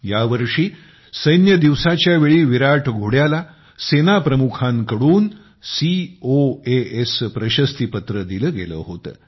यावर्षी सैन्य दिवसाच्यावेळी विराट घोड्याला सेनाप्रमुखांच्या कडून सीओएस प्रशस्ती पत्र दिले गेले होते